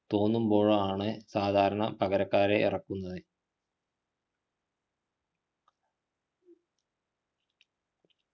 തോന്നുമ്പോഴാണ് സാധരണ പകരക്കാരെ ഇറക്കുന്നത്